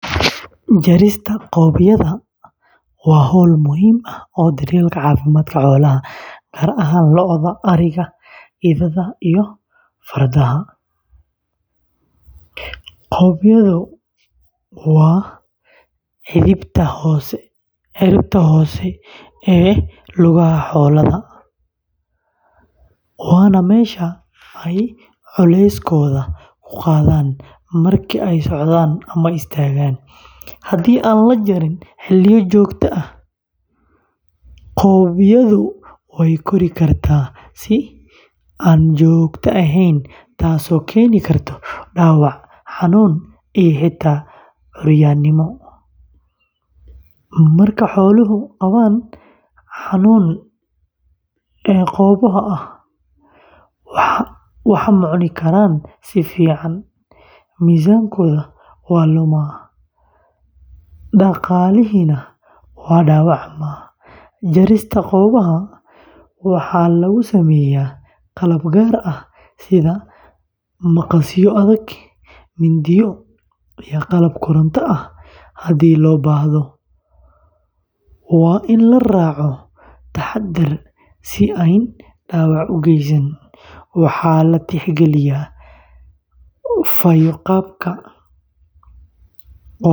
Jarista qoobyadha waa hawl muhiim u ah daryeelka caafimaadka xoolaha, gaar ahaan lo’da, ariga, ido, iyo fardaha, qoobyadha waa cidhibta hoose ee lugaha xoolaha, waana meesha ay culeyskooda ku qaadaan marka ay socdaan ama istaagaan. Haddii aan la jarin xilliyo joogto ah, qoobyadha way kori kartaa si aan joogto ahayn taasoo keeni karta dhaawac, xanuun, iyo xitaa curyaanimo. Marka xooluhu qabaan xanuun qoolleyda ah, wax ma cuni karaan si fiican, miisaankooda waa lumo, dhaqaalihiina waa dhaawacmaa. Jarista qoobyadha waxaa lagu sameeyaa qalab gaar ah sida maqasyo adag, mindiyo, iyo qalab koronto ah haddii loo baahdo. Waa in la raaco taxaddar si aanay dhaawac u geysan. Waxaa la tixgeliyaa.